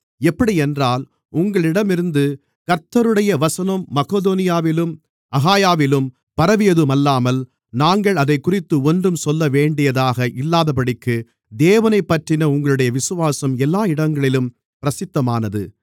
எப்படியென்றால் உங்களிடமிருந்து கர்த்தருடைய வசனம் மக்கெதோனியாவிலும் அகாயாவிலும் பரவியதுமல்லாமல் நாங்கள் அதைக்குறித்து ஒன்றும் சொல்லவேண்டியதாக இல்லாதபடிக்கு தேவனைப்பற்றின உங்களுடைய விசுவாசம் எல்லா இடங்களிலும் பிரசித்தமானது